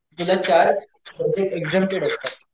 तुला चार subject exempted असतात,